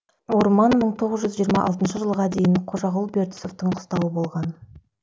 орман мың сегіз жүз жиырма алтыншы жылға дейін қожағұл бертісовтің қыстауы болған